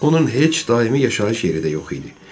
Onun heç daimi yaşayış yeri də yox idi.